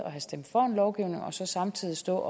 have stemt for en lovgivning samtidig stå